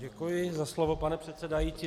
Děkuji za slovo, pane předsedající.